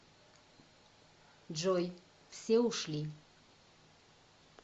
джой все ушли